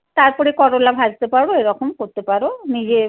তারপরে করোলা ভাজতে পারো। এরকম করতে পারো।